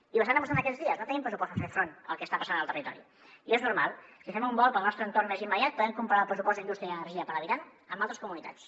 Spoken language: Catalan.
i ho estan demostrant aquests dies no tenim pressupost per fer front al que està passant al territori i és normal si fem un volt pel nostre entorn més immediat podem comparar el pressupost d’indústria i energia per habitant amb altres comunitats